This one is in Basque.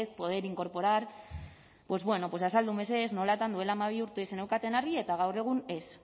poder incorporar pues bueno pues azaldu mesedez nolatan duela hamabi urtetik zeneukaten argi eta gaur egun ez